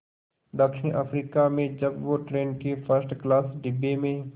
दक्षिण अफ्रीका में जब वो ट्रेन के फर्स्ट क्लास डिब्बे में